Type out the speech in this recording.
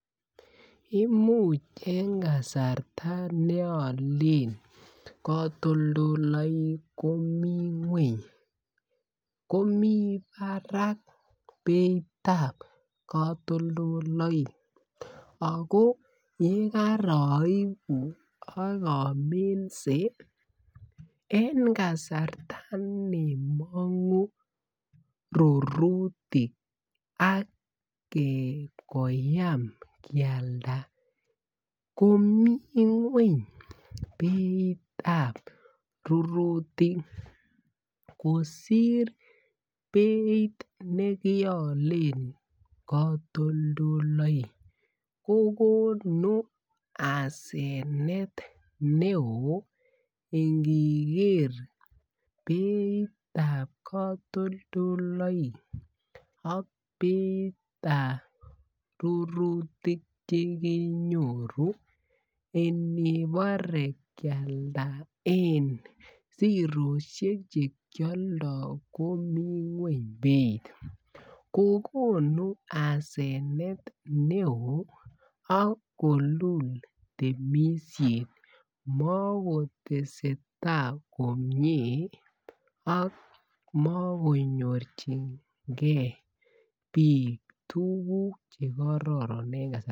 Imuch en kasarta ne Olen katoldoleywek komi ngwony komi barak beit ab katoldoleywek ago yekaraibu ak aminse en kasarta ne mongu rurutik ak koyam kealda komi ngwony beitab rurutik kosir beit nekialen katoldoleywek kokonu asenet neo iniker beitab katoldoywek ak beitab rurutik Che kenyoru en angebore kialda en sirosiek Che kialdo komi ngwony beit kogonu asenet neo ak kolul temisiet makoteseta komie ak makonyorchingei bik tuguk Che karoron en kasarta